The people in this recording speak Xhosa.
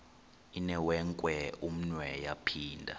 inewenkwe umnwe yaphinda